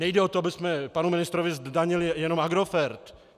Nejde o to, abychom panu ministrovi zdanili jenom Agrofert.